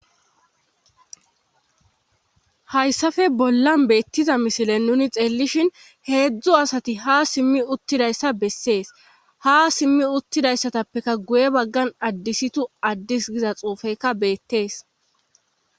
Hyssappe bollan beetiza misilen nuuni xeelishin heezu asati ha simmi utidayssa besees. Ha simmi utidayssatappekka guye bagan addis giza xuufekka beetees.